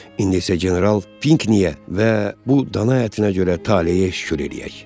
İndi isə general Pinkniyə və bu dana ətinə görə taleyə şükür eləyək.